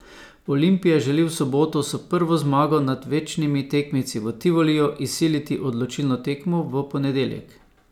Olimpija želi v soboto s prvo zmago nad večnimi tekemci v Tivoliju izsiliti odločilno tekmo v ponedeljek.